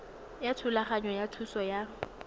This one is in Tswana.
ya thulaganyo ya thuso ya